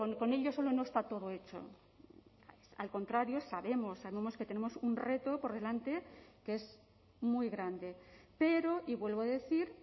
con ello solo no está todo hecho al contrario sabemos que tenemos un reto por delante que es muy grande pero y vuelvo a decir